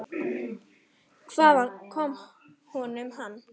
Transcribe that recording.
Hvaðan kom honum hann?